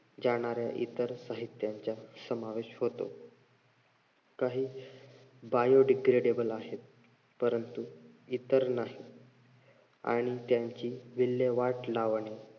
जाणाऱ्या इतर साहित्याचा समावेश होतो. काही biodegradible आहेत. परंतु इतर नाहीत आणि त्यांची विल्लेवाट लावणे